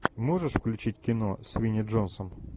можешь включить кино с винни джонсом